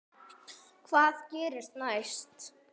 Hvað gerist næst?